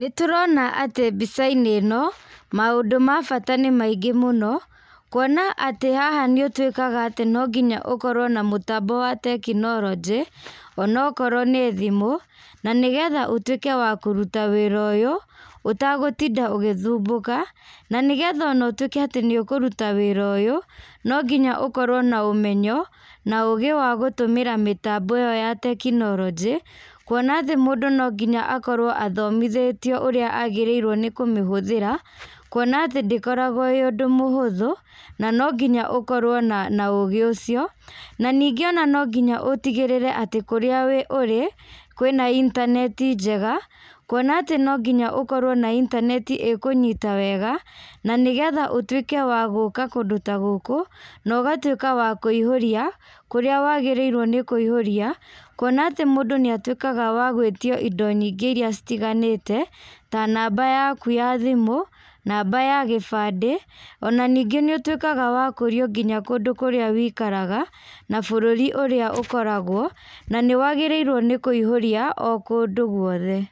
Nĩ tũrona atĩ mbica-inĩ ĩno, maũndũ ma bata nĩ maingĩ mũno, kuona atĩ haha nĩ ũtuĩkaga atĩ no nginya ũkorwo na mũtambo wa tekinoronjĩ, onokorwo nĩ thimũ, na nĩgetha ũtuĩke wa kũruta wĩra ũyũ, ũtagũtinda ũgĩthumbũka. Na nĩgetha ũtuĩke atĩ nĩ ũkũruta wĩra ũyũ, no nginya ũkorwo na ũmenyo, na ũũgĩ wa gũtũmĩra mĩtambo ĩyo ya tekinoronjĩ, kuona atĩ mũndũ no nginya akorwo athomithĩtio ũrĩa agĩrĩirwo nĩ kũmĩhũthĩra, kuona atĩ ndĩkoragwo ĩĩ ũndũ mũhũthũ, na no nginya ũkorwo na na ũũgĩ ũcio. Na ningĩ ona no nginya ũtigĩrĩre atĩ kũrĩa ũrĩ, kwĩna intaneti njega, kuona atĩ no nginya ũkorwo na intaneti ĩkũnyita wega, na nĩgetha ũtuĩke wa gũka kũndũ ta gũkũ, no ũgatuĩka wa kũihũria kũrĩa wagĩrĩirwo nĩ kũihũria, kuona atĩ mũndũ nĩ atuĩkaga wa gwĩtio indo nyingĩ irĩa citiganĩte, ta namba yaku ya thimũ, namba ya gĩbandĩ, ona ningĩ nĩ ũtuĩkaga wa kũrio nginya kũndũ kũrĩa wĩikaraga, na bũrũri ũrĩa ũkoragwo, na nĩ wagĩrĩirwo nĩ kũihũria o kũndũ guothe.